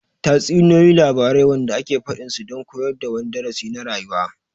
Tatsuniyoyi labarai wanda ake faɗin su don koyar da wani darasi na rayuwa